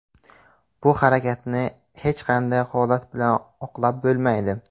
Bu harakatni hech qanday holat bilan oqlab bo‘lmaydi.